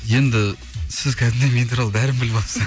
енді сіз кәдімгідей мен туралы бәрін біліп алыпсыз